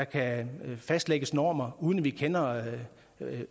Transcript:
kan fastlægge normer uden at vi kender